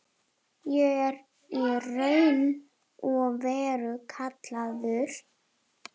Ég er í raun og veru kallaður.